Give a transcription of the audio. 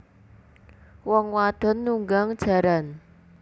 Wong wadon nunggang jaran